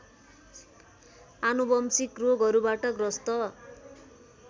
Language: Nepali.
आनुवंशिक रोगहरूबाट ग्रस्त